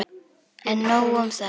En nóg um það.